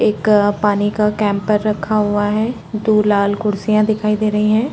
एक पानी का कैंपर रखा हुआ है दो लाल कुर्सिया दिखाई दे रही है।